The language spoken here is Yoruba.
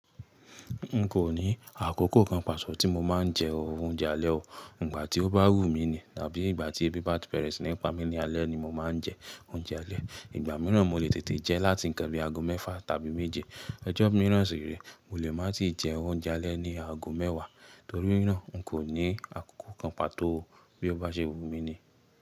N kò ní àkókò kan pàtọ tí mo máa ń jẹ oúnjẹ alẹ́ o. Ìgbà tí ó bá wù mí ni tàbí ìgbà tí ẹbí bá bẹ̀rẹ́ sí nípa mi ní alẹ́ ni mo máa ń jẹ oúnjẹ alẹ́. Ìgbà mìíràn mo lè tètè jẹ láti ń kan bí i ago mẹ́fà tàbí méje. Ọjọ́ mìíràn sì re, mo lè má tì jẹ oúnjẹ alẹ́ ní ago mẹ́wàá. Torí náà, n kò ní àkókò kan pàtó bí ó bá ṣe wù mí ni.